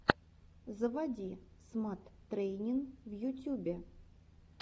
заводи смат трэйнин в ютюбе